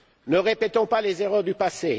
Ne répétons pas les erreurs du passé.